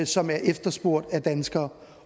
som er efterspurgt af danskere